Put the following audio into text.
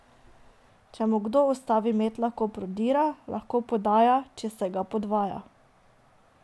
Če mu kdo ustavi met, lahko prodira, lahko podaja, če se ga podvaja ...